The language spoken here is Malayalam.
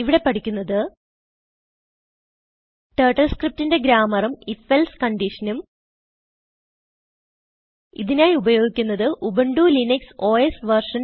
ഇവിടെ പഠിക്കുന്നത് ടർട്ടിൽ scriptന്റെ ഗ്രാമ്മറും if എൽസെ കന്റീഷനും ഇതിനായി ഉപയോഗിക്കുന്നത് ഉബുന്റു ലിനക്സ് ഓസ് വെർഷൻ